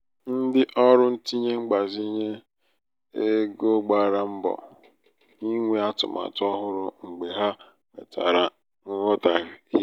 ndị ọrụ ntinye mgbazinye egogbara mbọ inwe atụmatụ ọhụrụ mgbe ha nwetara nghọtahie.